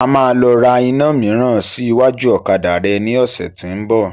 A máa lọ ra iná míírán sí iwájú ọ̀kadà rẹ ní ọ̀sẹ̀ tí ń bọ̀.